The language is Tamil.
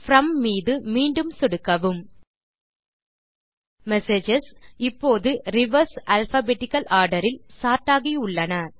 ப்ரோம் மீது மீண்டும் சொடுக்கவும் மெசேஜஸ் இப்போது ரிவர்ஸ் அல்பாபெட்டிக்கல் ஆர்டர் இல் சோர்ட் ஆகியுள்ளன